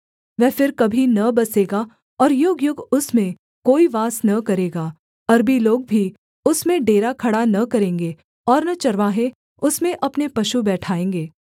वह फिर कभी न बसेगा और युगयुग उसमें कोई वास न करेगा अरबी लोग भी उसमें डेरा खड़ा न करेंगे और न चरवाहे उसमें अपने पशु बैठाएँगे